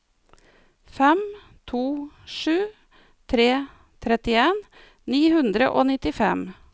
fem to sju tre trettien ni hundre og nittifem